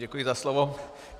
Děkuji za slovo.